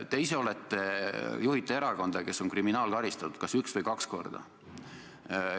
Te ise juhite erakonda, kes on kriminaalkaristatud kas üks või kaks korda.